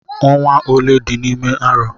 Ọnwa ole dị n'ime arọ?